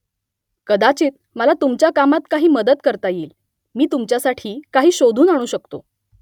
कदाचित मला तुमच्या कामात काही मदत करता येईल मी तुमच्यासाठी काही शोधून आणू शकतो